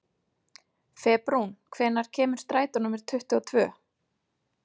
Febrún, hvenær kemur strætó númer tuttugu og tvö?